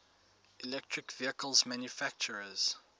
electric vehicle manufacturers